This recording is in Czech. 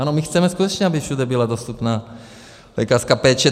Ano, my chceme skutečně, aby všude byla dostupná lékařská péče.